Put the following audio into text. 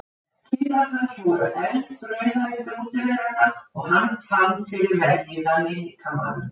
Kinnar hans voru eldrauðar eftir útiveruna og hann fann fyrir vellíðan í líkamanum.